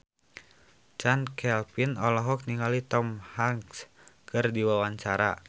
Chand Kelvin olohok ningali Tom Hanks keur diwawancara